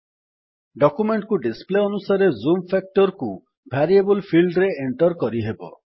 document କୁ display ଅନୁସାରେ zoom factor କୁ ଭାରିଏବଲ୍ ଫିଲ୍ଡରେ ଏଣ୍ଟର୍ କରିହେବ